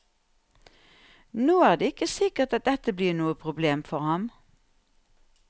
Nå er det ikke sikkert at dette blir noe problem for ham.